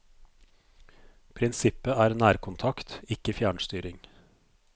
Prinsippet er nærkontakt, ikke fjernstyring.